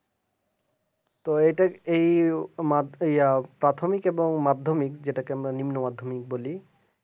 তো এটা এইমাত্র ইয়ার প্রাথমিক এবং মাধ্যমিক যেটাকে আমরা নিম্ন মাধ্যমিক বলি